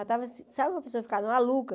Eu já estava... Sabe quando a pessoa fica maluca?